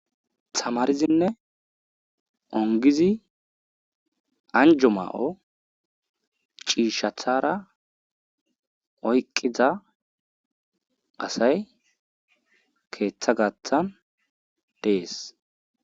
Tamaridine ongidi anjo mayo cishatsra oyqida assy ketha gathan des